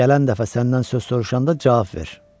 Gələn dəfə səndən söz soruşanda cavab ver.